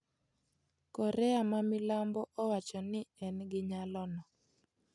Korea ma milambo owacho ni en gi nyalono.